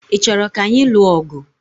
Ị chọrọ ka anyị lụọ ọgụ?